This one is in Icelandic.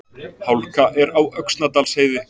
Hálka er á Öxnadalsheiði